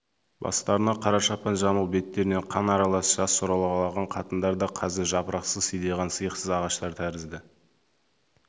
бастарына қара шапан жамылып беттерінен қан аралас жас сорғалаған қатындар да қазір жапырақсыз сидиған сиықсыз ағаштар тәрізді